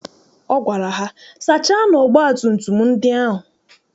Ọ gwara ha, sachaanụ ọgbatumtum ndị ahụ!